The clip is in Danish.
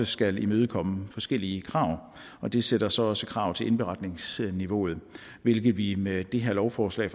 skal imødekomme forskellige krav og det sætter så også krav til indberetningsniveauet hvilket vi med det her lovforslag